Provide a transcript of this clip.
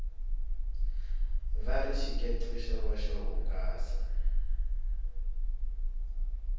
vari xikece xo va xo hungasa